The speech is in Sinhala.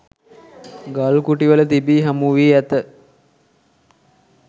ගල්කුටිවල තිබී හමුවී ඇත.